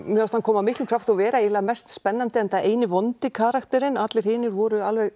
mér fannst hann koma af miklum krafti inn og vera eiginlega mest spennandi enda eini vondi karakterinn allir hinir voru alveg